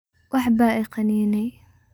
Waxba ikaniney.